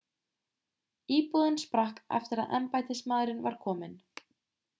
íbúðin sprakk eftir að embættismaðurinn var kominn